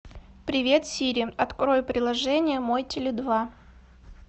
привет сири открой приложение мой теле два